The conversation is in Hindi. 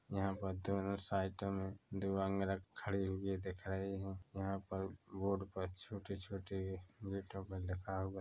यहाँ पर दोनों साइडों में दो अंगरख खड़े हुए दिख रहे है यहाँ पर बोर्ड पर छोटे-छोटे गेटों पर लिखा हुआ--